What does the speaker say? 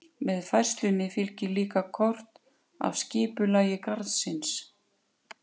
Með færslunni fylgir líka kort af skipulagi garðsins.